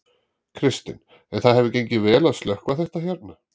Kristinn: En það hefur gengið vel að slökkva þetta hérna?